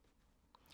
DR2